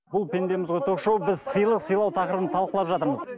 бұл пендеміз ғой ток шоуы біз сыйлық сыйлау тақырыбын талқылап жатырмыз